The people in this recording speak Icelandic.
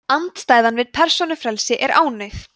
andstæðan við persónufrelsi er ánauð